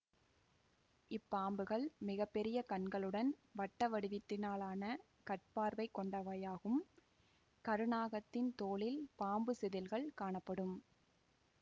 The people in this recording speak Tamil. இப்பாம்புகள் மிக பெரிய கண்களுடன் வட்டவடிவத்திலன கட்பார்வை கொண்டவையாகும் கருநாகத்தின் தோலில் பாம்புச் செதில்கள் காணப்படும்